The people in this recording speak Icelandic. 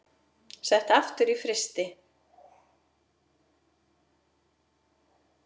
Sett aftur í frysti.